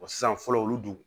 sisan fɔlɔ olu dun